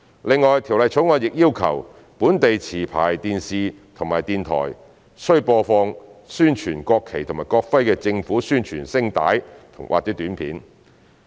另外，《條例草案》亦要求本地持牌電視台及電台，須播放宣傳國旗及國徽的政府宣傳聲帶或短片。